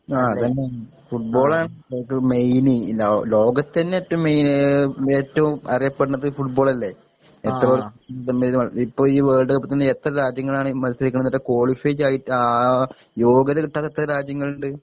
ആ അതന്നെ ഫുട്‍ബോളാണ് നമുക്ക് മെയിന് ലോ ലോകത്തന്നെ ഏറ്റോം മെയിൻ ഏറ്റോം അറിയപ്പെട്ണത് ഫുട്‌ബോളല്ലെ ഇപ്പൊ ഈ വേൾഡ്ക്കപ്പി തന്നെ എത്ര രാജ്യങ്ങളാണ് മത്സരിക്ക്ണത് എന്നിട്ട് ക്വാളിഫൈ ആ യോഗ്യത കിട്ടാത്ത എത്ര രാജ്യങ്ങള്ണ്ട്